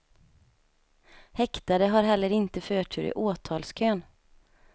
Häktade har heller inte förtur i åtalskön.